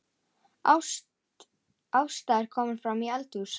Ásta er komin framí eldhús.